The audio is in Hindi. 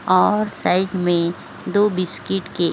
और साइड मे दो बिस्किट की --